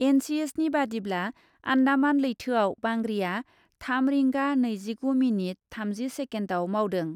एनसिएसनि बादिब्ला , आन्डामान लैथोआव बांग्रिआ थाम रिंगा नैजिगु मिनिट थामजि सेकेन्डआव मावदों ।